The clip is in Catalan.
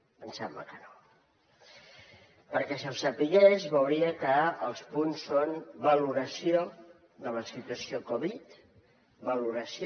perquè si ho sabés veuria que els punts són valoració de la situació covid valoració